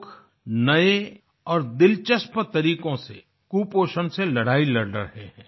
लोग नए और दिलचस्प तरीकों से कुपोषण से लड़ाई लड़ रहे हैं